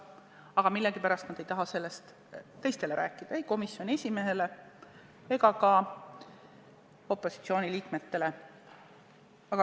Aga millegipärast nad ei taha sellest teistele rääkida – ei komisjoni esimehele ega ka opositsiooni liikmetele.